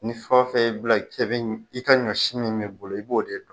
Ni fɛn o fɛn y'i bila i ka ɲɔ si b'i bolo i b'o de dun.